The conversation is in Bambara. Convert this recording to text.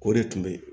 O de tun be yen